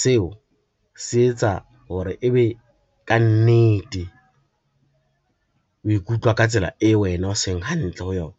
Seo se etsa hore e be ka nnete o ikutlwa ka tsela eo wena o seng hantle ho yona.